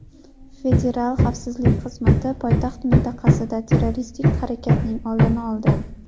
Federal xavfsizlik xizmati poytaxt mintaqasida terroristik harakatning oldini oldi.